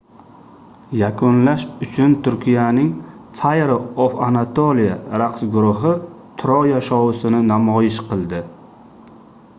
yakunlash uchun turkiyaning fire of anatolia raqs guruhi troya shousini namoyish qildi